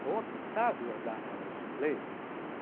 Sou habilitado a dar aulas de inglês